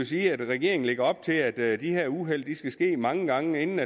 sige at regeringen lægger op til at de her uheld skal ske mange gange inden